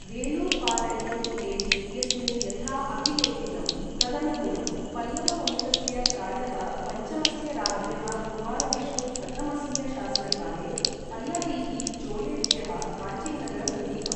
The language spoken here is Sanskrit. वेलुर्पालैयम् प्लेट् इत्यस्मिन् यथा अभिलेखितं तदनुगुणं, पल्लव वंशस्य, प्रायः पञ्चमस्य राज्ञः कुमारविष्णु प्रथमस्य शासनकाले, पल्लवै़ः, चोलेभ्यः काञ्चीनगरं गृहीतम्।